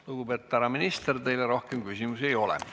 Lugupeetud härra minister, teile rohkem küsimusi ei ole.